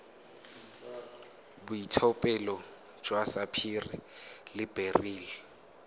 boitlhophelo jwa sapphire le beryl